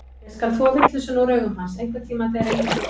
Ég skal þvo vitleysuna úr augum hans, einhverntíma þegar enginn sér til.